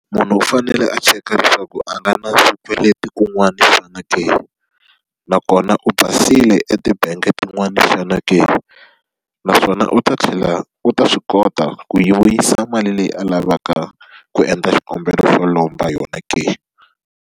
Munhu u fanele a cheka leswaku a nga na swikweleti kun'wana xana ke? Nakona u basile etibangi tin'wani xana ke? Naswona u ta tlhela u ta swi kota ku yi vuyisa mali leyi a lavaka ku endla xikombelo xo lomba yona ke?